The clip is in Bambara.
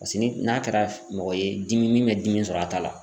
Paseke ni n'a kɛra mɔgɔ ye dimi min bɛ dimi sɔrɔ a ta la.